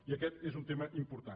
i aquest és un tema important